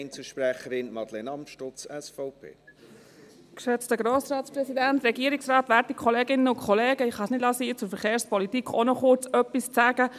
Ich kann es nicht sein lassen, auch noch kurz etwas zur Verkehrspolitik zu sagen.